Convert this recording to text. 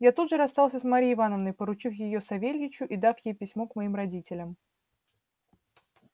я тут же расстался с марьей ивановной поручив её савельичу и дав ей письмо к моим родителям